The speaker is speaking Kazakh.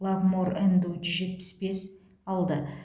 лавмор нду жүз жетпіс бес алды